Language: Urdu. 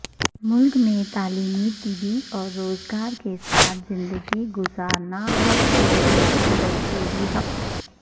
ملک میں تعلیمی طبی اور روزگار کے ساتھ زندگی گزارنا ہر شہری کا دستوری حق